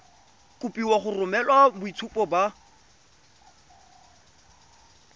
kopiwa go romela boitshupo ba